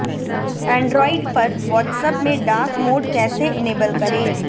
Android पर WhatsApp में dark mode कैसे इनेबल करें